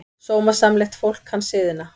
Sómasamlegt fólk kann siðina.